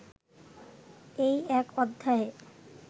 এই এক অধ্যায়ে